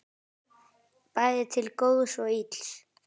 Bæði til góðs og ills.